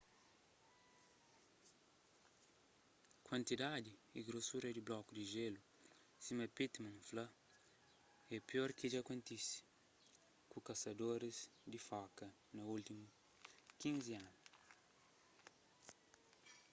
kuantidadi y grosura di bloku di jélu sima pittman fla é pior ki dja kontise ku kasadoris di foka na últimus 15 anu